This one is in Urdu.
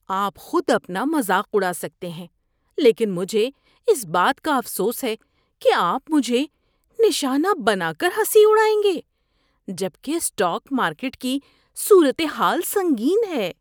آپ خود اپنا مذاق اڑا سکتے ہیں لیکن مجھے اس بات کا افسوس ہے کہ آپ مجھے نشانہ بنا کر ہنسی اڑائیں گے جبکہ اسٹاک مارکیٹ کی صورت حال سنگین ہے۔